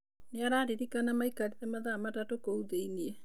Nĩ ararĩrĩkana maikarĩre mathaa matatu kũu thĩinĩe.